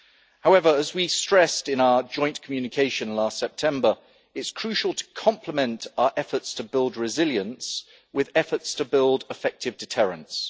However, as we stressed in our joint communication last September, it is crucial to complement our efforts to build resilience with efforts to build effective deterrents.